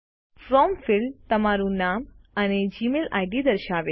from field તમારૂ નામ અને જીમેઇલ આઈડી દર્શાવે છે